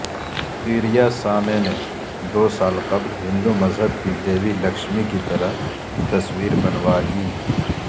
پیریاسامے نے دو سال قبل ہندو مذہب کی دیوی لکشمی کی طرح تصویر بنوائی